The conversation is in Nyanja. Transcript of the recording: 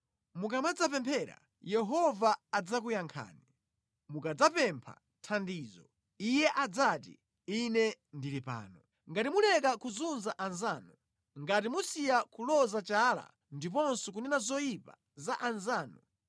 Mukamadzapemphera Yehova adzakuyankhani; mukadzapempha thandizo, Iye adzati: Ine ndili pano. “Ngati muleka kuzunza anzanu, ngati musiya kuloza chala ndiponso kunena zoyipa za anzanu.